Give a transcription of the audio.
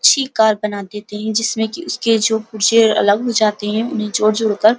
Car बना देती है। जिसमे कि उसके पुरजे अलग हो जाते हैं। उन्हें जोड़-जोड़ कर --